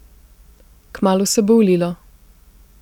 Kmalu se bo ulilo.